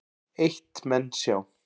Eitt menn sjá